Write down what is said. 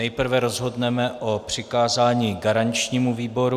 Nejprve rozhodneme o přikázání garančnímu výboru.